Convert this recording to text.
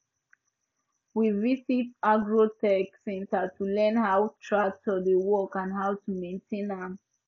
we visit agro tech centre to learn how tractor dey work and how to maintain am